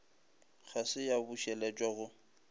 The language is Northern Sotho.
ga se ya bušeletšwa go